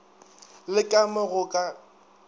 le ka mo go ka